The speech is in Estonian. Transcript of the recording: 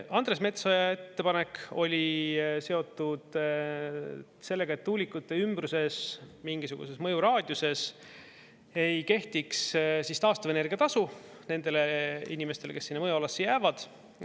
Andres Metsoja ettepanek oli seotud sellega, et tuulikute ümbruses mingisuguses mõjuraadiuses ei kehtiks taastuvenergia tasu nendele inimestele, kes sinna mõjualasse jäävad.